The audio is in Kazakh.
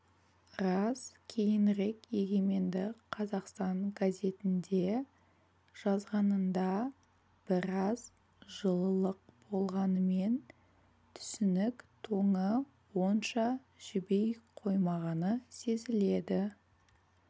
рас кейінірек егеменді қазақстан газетінде жазғанында біраз жылылық болғанымен түсінік тоңы онша жіби қоймағаны сезіледі